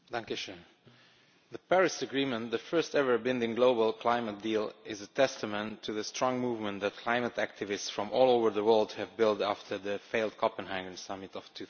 Mr President, the Paris agreement, the first ever binding global climate deal, is a testament to the strong movement that climate activists from all over the world have built after the failed Copenhagen summit of